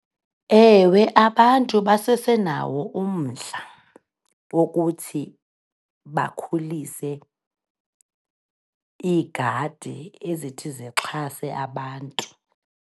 Ewe, abantu basesenawo umdla wokuthi bakhulise iigadi ezithi zixhase abantu.